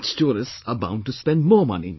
Rich tourists are bound to spend more money